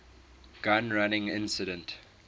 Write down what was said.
gun running incident